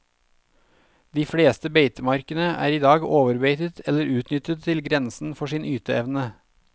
De fleste beitemarkene er i dag overbeitet eller utnyttet til grensen for sin yteevne.